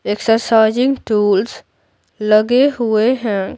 Exercising tools लगे हुए हैं।